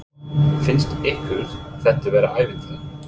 Kristján: Finnst ykkur þetta vera ævintýri?